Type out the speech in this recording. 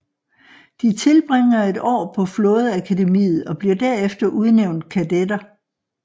De tilbringer et år på flådeakademiet og bliver derefter udnævnt kadetter